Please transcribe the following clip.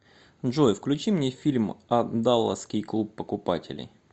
джой включи мне фильм а даласский клуб покупателей